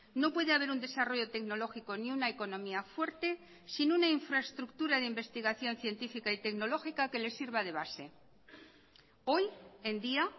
no puede haber un desarrollo tecnológico ni una economía fuerte sin una infraestructura de investigación científica y tecnológica que le sirva de base hoy en día